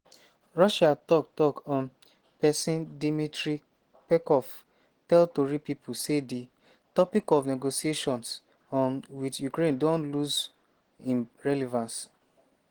russia tok-tok um pesin dmitry peskov tell tori pipo say di "topic of negotiations um wit ukraine don lose im relevance".